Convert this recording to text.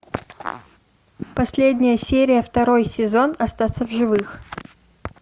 последняя серия второй сезон остаться в живых